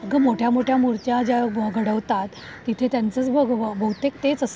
अगं, अगं मोठ्या मोठ्या मूर्त्या ज्या घडवतात, तिथे त्यांचच बहुतेक तेच असत.